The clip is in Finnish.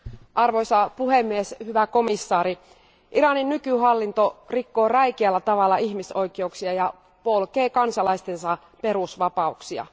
Arvoisa puhemies, hyvä komission jäsen, Iranin nykyhallinto rikkoo räikeällä tavalla ihmisoikeuksia ja polkee kansalaistensa perusvapauksia.